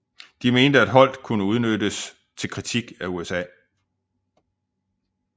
De mente at Holdt kunne udnyttes til kritik af USA